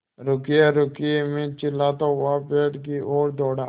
रुकिएरुकिए मैं चिल्लाता हुआ पेड़ की ओर दौड़ा